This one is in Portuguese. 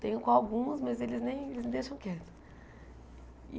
Tenho com algumas, mas eles nem eles me deixam quieta.